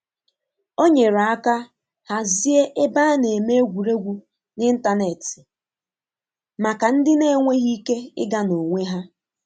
O nyere aka hazie ebe a na-eme egwuregwu n'ịntanetị maka ndị na-enweghị ike ịga n'onwe ha.